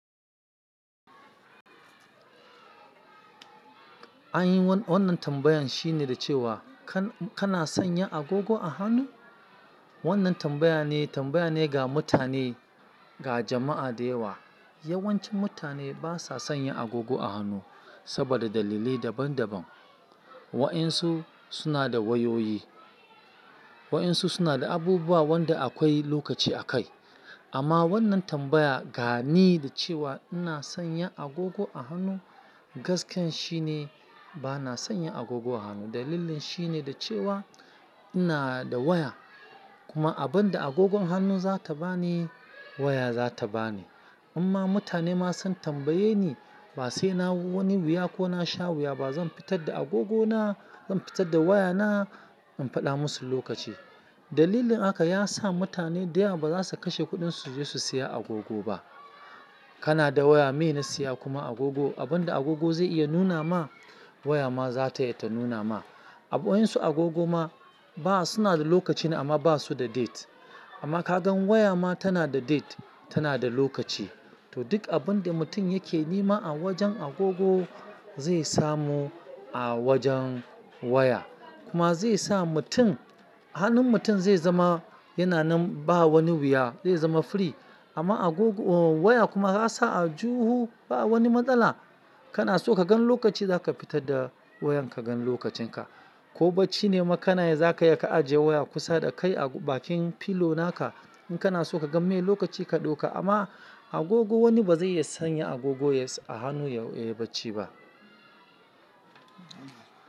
An yi wannan tambayan shine da cewa kana sanya agogo a hannu? Wannan tambaya ne, tambaya ne ga mutane, ga jama'a da yawa. Yawancin mutane ba sa sanya agogo a hannu saboda dalilai daban-daban. Wa'yensu suna da wayoyi, wa'yensu suna da abubuwa wanda akwai lokaci a kai. Amma wannan tambaya ga ni da cewa ina sanya agogo a hannu gaskiya shine ba na sanya agogo a hannu. Dalilin shine da cewa ina da waya. Kuma abin da agogon hannu zata bani waya zata bani. Inma mutane ma sun tambaye ni ba sai na wani wuya ko na sha wuya ba zan fitar da agogona, zan fitar da wayana in faɗa musu lokaci. Dalilin haka ya sa mutane da yawa ba za su kashe kuɗinsu suje su siya agogo ba. Kana da waya, meye na siya kuma agogo? Abin da agogo zai iya nuna ma waya ma zata iya ta nuna ma. Wa'yensu agogo ma ba suna da lokaci amma ba su da date. Amma ka gan waya ma tana da date, tana da lokaci. To duk abin da mutum yake nema a wajen agogo zai samu a wajen waya. Kuma zai sa mutum, hannun mutum zai zama yana nan ba wani wuya, zai zama free. Amma agogo, waya kuma za'a sa aljihu ba wani matsala. Kana so ka gan lokaci za ka fitar da wayan ka gan lokacinka. Ko bacci ne ma kana yi za ka iya ka ajiye waya kusa da kai a bakin filo naka. In kana so ka gan me lokaci ka ɗauka amma agogo wani ba zai iya sanya agogo a hannu yayi bacci ba.